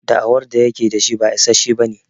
Da'awar da yake da shi ba issashe bane.